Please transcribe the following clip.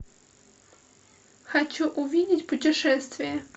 хочу увидеть путешествия